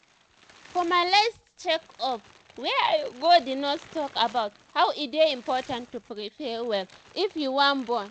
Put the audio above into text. for my last check up wey i gothe nurse talk about how e dey important to prepare well if you wan born